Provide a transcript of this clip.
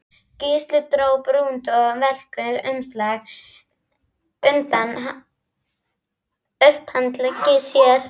Gísli dró brúnt og velkt umslag undan upphandlegg sér.